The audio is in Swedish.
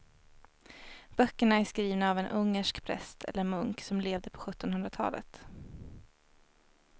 Böckerna är skrivna av en ungersk präst eller munk som levde på sjuttonhundratalet.